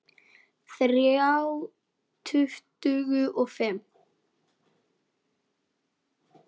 Þrjá tuttugu og fimm!